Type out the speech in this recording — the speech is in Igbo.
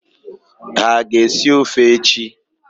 Ha aga-esi ọfe echi?